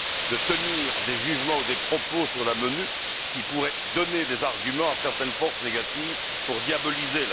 de tenir des jugements ou des propos sur la MONUC qui pourraient donner des arguments à certaines forces négatives pour la diaboliser.